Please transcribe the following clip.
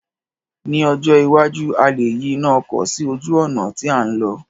Ní ọjọ́ iwájú, a lè yí iná ọkọ̀ sí ojú ọ̀nà tí à ń lọ̀